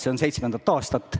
See on seitsmendat aastat.